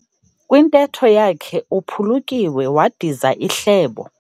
Kwintetho yakhe uphulukiwe wadiza ihlebo.